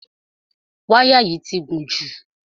Wáyà yìí ti gùn jù.